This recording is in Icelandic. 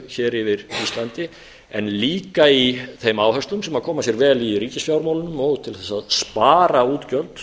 loftrýmiseftirlitinu yfir íslandi en líka í þeim áherslum sem koma sér vel í ríkisfjármálum og til þess að spara útgjöld